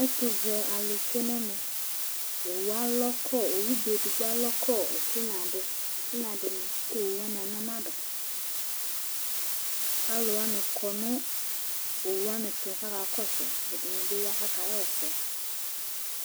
ɛtũvɛ alu tsué ṇũ ɛmɛ owoubé édigbo alɔ kɔ ɛtinya kũ owũ wani aṇyama du ku aluwani kɔ nũ owũ wani tũ ku aka kɔsũ Ɛdĩnĩ bi ya kũ akaɣa ɛsɛ